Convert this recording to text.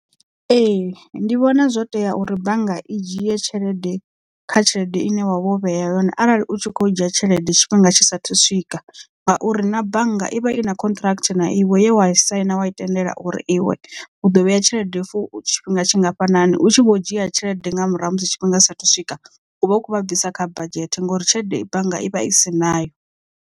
Ee ndi vhona zwo tea uri bannga i dzhie tshelede kha tshelede ine wavho vhea yone arali u tshi khou dzhia tshelede tshifhinga tshisa thu swika ngauri na bannga i vha i na contract na iwe ye wa saina wai tendela uri iwe u ḓo vheya tshelede for tshifhinga tshingafhani u tshi vho dzhia tshelede nga murahu ha musi tshifhinga tshisa thu swika u vha u kho vha bvisa kha badzhete ngouri tshelede bannga i vha i si nayo.